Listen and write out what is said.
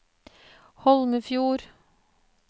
Holmefjord